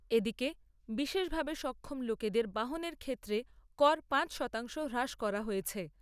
এদিকে বিশেষভাবে সক্ষম লোকেদের বাহনের ক্ষেত্রে কর পাঁচ শতাংশ হ্রাস করা হয়েছে।